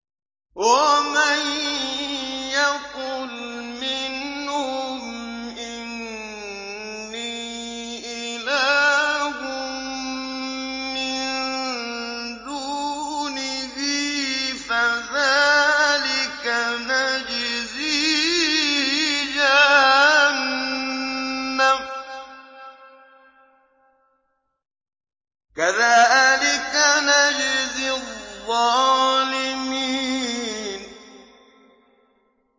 ۞ وَمَن يَقُلْ مِنْهُمْ إِنِّي إِلَٰهٌ مِّن دُونِهِ فَذَٰلِكَ نَجْزِيهِ جَهَنَّمَ ۚ كَذَٰلِكَ نَجْزِي الظَّالِمِينَ